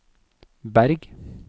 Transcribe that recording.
Berg